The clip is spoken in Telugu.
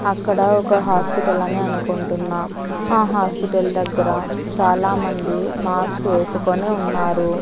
అక్కడ ఒక హాస్పిటల్ అని అనుకుంటున్నా ఆ హాస్పిటల్ దగ్గర చాలా మంది మాస్క్ వేసుకొని ఉన్నారు.